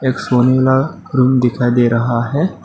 एक सोने वाला रूम दिखाई दे रहा है।